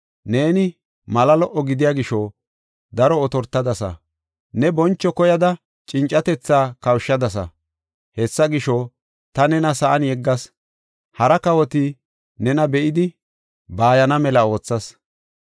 Neeni mala lo77o gidiya gisho daro otortadasa; ne boncho koyada cincatetha kawushadasa. Hessa gisho, ta nena sa7an yeggas; hara kawoti nena be7idi bayana mela oothas.